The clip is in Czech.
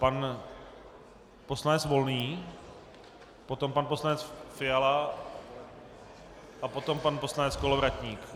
Pan poslanec Volný, potom pan poslanec Fiala a potom pan poslanec Kolovratník.